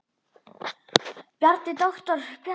Bjarni, doktor Bjarni.